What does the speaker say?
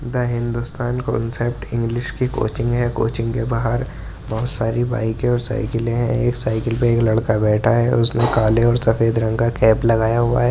The Hindustan concept English की coaching है। Coaching के बाहर बहोत सारी बाइके और साइकिले है। एक साइकिल पर एक लड़का बैठा है। उसने काले और सफेद रंग का कैप लगाया हुआ है।